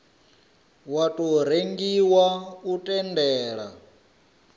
wa tou rengiwa u tendela